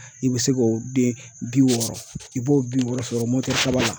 I bɛ se k'o den bi wɔɔrɔ i b'o bi wɔɔrɔ sɔrɔ kaba